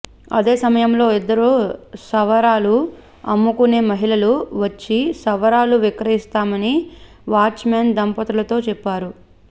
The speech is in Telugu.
అదే సమయంలో ఇద్దరు సవరాలు అమ్ముకునే మహిళలు వచ్చి సవరాలు విక్రయిస్తామని వాచ్మెన్ దంపతులతో చెప్పారు